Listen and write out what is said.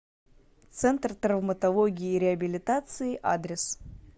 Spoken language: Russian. центр травматологии и реабилитации адрес